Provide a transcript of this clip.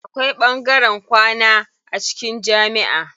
Akwai ɓangaren kwana a cikin jamiʼa.